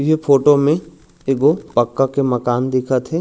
ये फोटो में एगो पक्का के मकान दिखत हे।